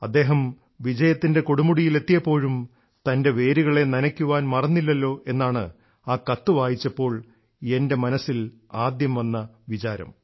അദ്ദേഹം വിജയത്തിൻറെ കൊടുമുടിയിൽ എത്തയപ്പോഴും തൻറെ വേരുകളെ നനയ്ക്കാൻ മറന്നില്ലല്ലോ എന്നാണ് ആ കത്ത് വായിച്ചപ്പോൾ എൻറെ മനസ്സിൽ ആദ്യം വന്ന വിചാരം